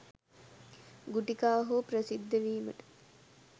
ගුටි කා හෝ ප්‍රසිද්ධ වීමට